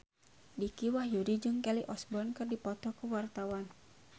Dicky Wahyudi jeung Kelly Osbourne keur dipoto ku wartawan